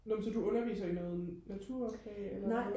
nå men så du underviser i noget naturfag eller hvad